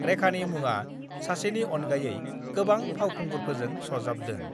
रेखानि मुङा सासेनि अनगायै गोबां फावखुंगुरफोरजों सरजाबदों।